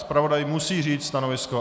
Zpravodaj musí říct stanovisko.